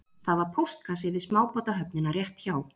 Það var póstkassi við smábátahöfnina rétt hjá